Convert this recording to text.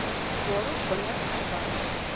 waarop wingerd verbou